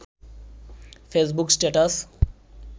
Facebook status